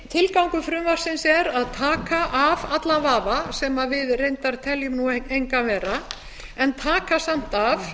tilgangur frumvarpsins er að taka af allan vafa sem við reyndar teljum engan vera en taka samt af